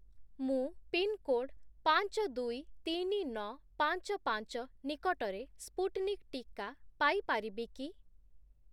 ମୁଁ ପିନ୍‌କୋଡ୍ 523955 ନିକଟରେ ସ୍ପୁଟ୍‌ନିକ୍ ଟିକା ପାଇ ପାରିବି କି?